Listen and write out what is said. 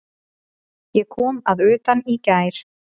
Ég kom að utan í gær.